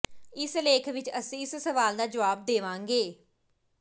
ਇਸ ਲੇਖ ਵਿਚ ਅਸੀਂ ਇਸ ਸਵਾਲ ਦਾ ਜਵਾਬ ਦੇਵਾਂਗੇ